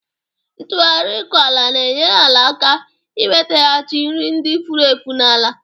Ntụgharị ịkọ ala na-enyere ala aka inwetaghachi nri ndị furu efu n'ala